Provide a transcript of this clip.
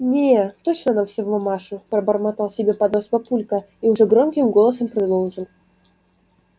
не точно она вся в мамашу пробормотал себе под нос папулька и уже громким голосом продолжил